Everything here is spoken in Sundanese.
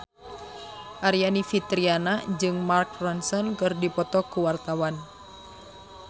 Aryani Fitriana jeung Mark Ronson keur dipoto ku wartawan